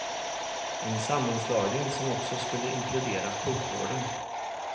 En sammanslagning som också skulle inkludera sjukvården.